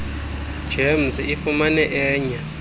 gems ifumane enye